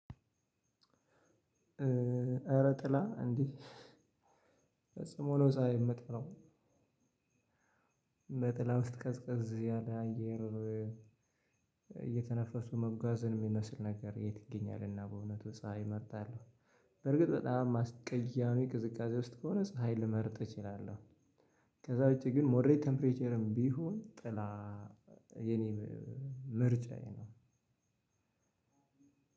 እረ ጥላ እንዲህ ፈጽሞ ፀሀይ የምጠላው። በጥላ ውስጥ ቀዝቀዝ ያለ አየር እየተነፈሱ መጓዝን የሚመስል ነገር የት ይገኛልና በእውነቱ ፀሀይ እመርጣለሁ በርግጥ በጣም አስቀያሚ ቅዝቃዜ ውስጥ ከሆነ ፀሀይ ልመርጥ እችላለሁ። ከዛ ውጪ ግን ሞደሬት ቴምፕሬቸርም ቢሆን ጥላ የኔ ምርጫዬ ነው።